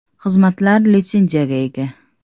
Xizmatlar litsenziyaga ega.